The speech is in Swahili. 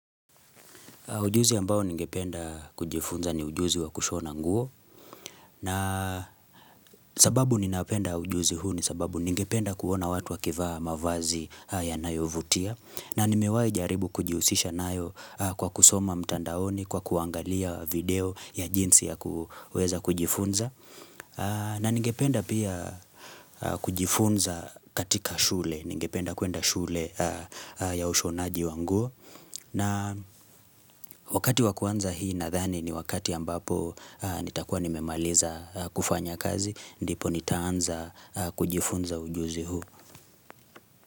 Ujuzi ambao ningependa kujifunza ni ujuzi wa kushona nguo na sababu ninapenda ujuzi huu ni sababu ningependa kuona watu wakivaa mavazi ya nayo vutia na nimewai jaribu kujihusisha nayo kwa kusoma mtandaoni kwa kuangalia video ya jinsi ya kuweza kujifunza na ningependa pia kujifunza katika shule ningependa kuenda shule ya ushonaji wa nguo na wakati wakuanza hii nadhani ni wakati ambapo nitakuwa nimemaliza kufanya kazi, ndipo nitaanza kujifunza ujuzi huu.